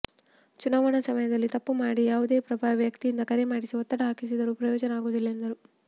ಚುನಾವಣಾ ಸಮಯದಲ್ಲಿ ತಪ್ಪು ಮಾಡಿ ಯಾವುದೇ ಪ್ರಭಾವಿ ವ್ಯಕ್ತಿಯಿಂದ ಕರೆ ಮಾಡಿಸಿ ಒತ್ತಡ ಹಾಕಿಸಿದರೂ ಪ್ರಯೋಜನ ಆಗುವುದಿಲ್ಲ ಎಂದರು